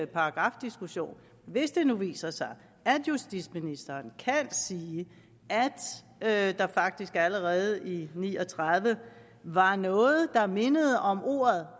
paragrafdiskussion hvis det nu viser sig at justitsministeren kan sige at der faktisk allerede i ni og tredive var noget der mindede om ordet